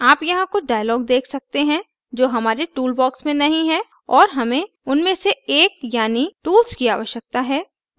आप यहाँ कुछ dialogs देख सकते हैं जो हमारे toolbox में नहीं हैं और हमें उनमें से एक यानी tools की आवश्यकता है